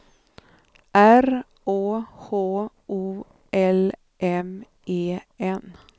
R Å H O L M E N